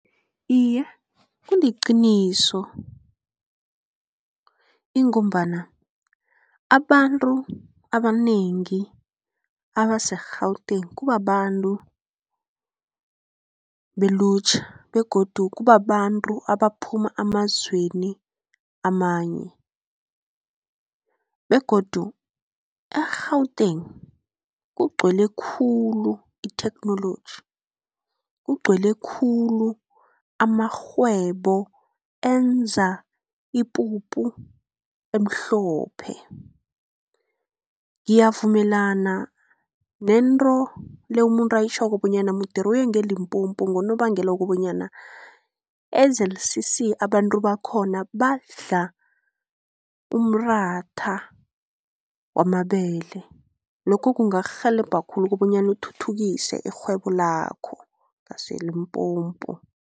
Iye, kuliqiniso ngombana abantu abanengi abase-Gauteng kubabantu belutjha begodu kubabantu abaphuma emazweni amanye, begodu e-Gauteng kugcwele khulu itheknoloji, kugcwele khulu amarhwebo enza ipuphu emhlophe. Ngiyavumelana nento le umuntu ayitjhoko bonyana moet hulle uye nge-Limpopo ngonobangela wokobanyana e-Z_C_C abantu bakhona badla umratha wamabele. Lokho kungakurhelebha khulu kobonyana uthuthukise irhwebo lakho ngase-Limpopo.